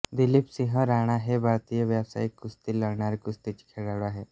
दिलीप सिंह राणा हे भारतीय व्यवसायिक कुस्ती लढणारे कुस्तीचे खेळाडू आहेत